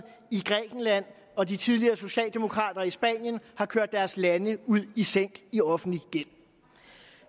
i grækenland og de tidligere socialdemokrater i spanien har kørt deres lande i sænk i offentlig gæld